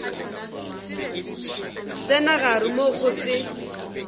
tsena gare moo go se